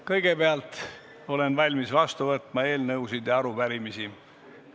Kõigepealt olen valmis vastu võtma eelnõusid ja arupärimisi.